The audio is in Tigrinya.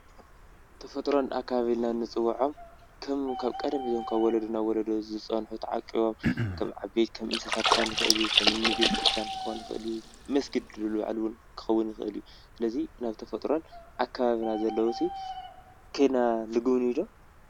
ተፈጥራዊ ኣከባቢ ኢልና እንፅወዖም እቶም ካብ ቀደም ዝርከቡ ካብ ወለዶ ናብ ዎሎዶ ተዓቂቦም ከም ዓበይቲ ክከውን ይክእል እዩ ከም ቤተ-ክርስትያን ክከውን ይክእል እዩ መስጊድ ክከውን ይክእል እዩ ስለዚ ናይ ተፈጥሮን ኣከባብን ዘለው ኣብዚ ከይድና ትግብንዩ ዶ?